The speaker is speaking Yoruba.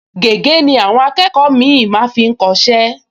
Gègé ni àwọn akẹ́kọ̀ọ mì-ín máa ń fi kọ iṣẹ́